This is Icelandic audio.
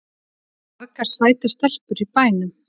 Það eru margar sætar stelpur í bænum.